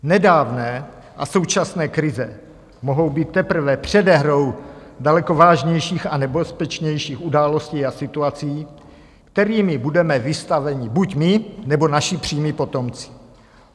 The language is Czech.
Nedávné a současné krize mohou být teprve předehrou daleko vážnějších a nebezpečnějších událostí a situací, kterým budeme vystaveni buď my, nebo naši přímí potomci.